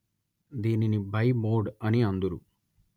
దీనిని బైమోడ్ అని అందురు